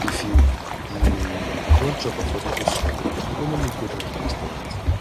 if you um wan chop affordable swallow folo me go dat restaurant